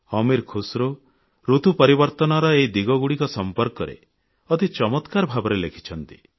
ଅମୀର ଖୁସ୍ରୋ ଋତୁ ପରିବର୍ତ୍ତନର ଏହି ଦିନଗୁଡ଼ିକ ସମ୍ପର୍କରେ ଅତି ଚମତ୍କାର ଭାବରେ ଲେଖିଛନ୍ତି